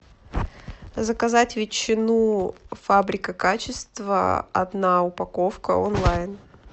заказать ветчину фабрика качества одна упаковка онлайн